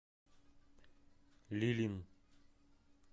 лилин